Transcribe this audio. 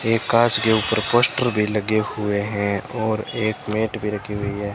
एक कांच के ऊपर पोस्टर भी लगे हुए हैं और एक मैट भी रखी हुई है।